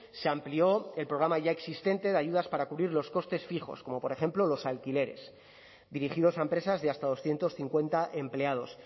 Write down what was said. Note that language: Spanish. se amplió el programa ya existente de ayudas para cubrir los costes fijos como por ejemplo los alquileres dirigidos a empresas de hasta doscientos cincuenta empleados